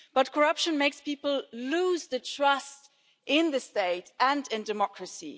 Corruption makes people lose trust in the state and in democracy.